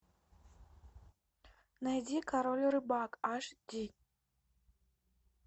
найди король рыбак аш ди